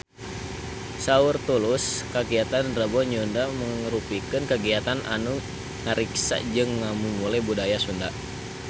Saur Tulus kagiatan Rebo Nyunda mangrupikeun kagiatan anu ngariksa jeung ngamumule budaya Sunda